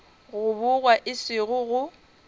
go bogwa e sego go